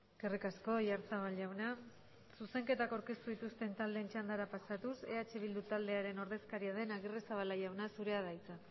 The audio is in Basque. eskerrik asko oyarzabal jauna zuzenketak aurkeztu dituzten taldeen txandara pasatuz eh bildu taldearen ordezkaria den agirrezabala jauna zurea da hitza